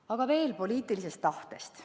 Aga veel poliitilisest tahtest.